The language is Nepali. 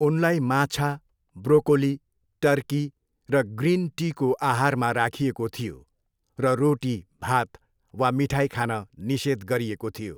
उनलाई माछा, ब्रोकोली, टर्की र ग्रिन टीको आहारमा राखिएको थियो र रोटी, भात वा मिठाई खान निषेध गरिएको थियो।